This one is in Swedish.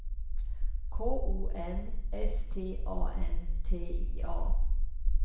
K O N S T A N T I A